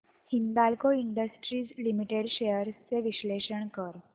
Hindalco Industries Limited shares चे विश्लेषण कर